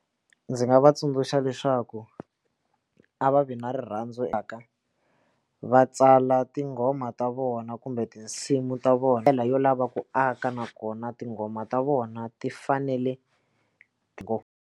Ndzi nga va tsundzuxa leswaku a va vi na rirhandzu eka va tsala tinghoma ta vona kumbe tinsimu ta vona ndlela yo lava ku aka nakona tinghoma ta vona ti fanele ku.